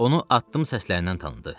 Onu addım səslərindən tanıdı.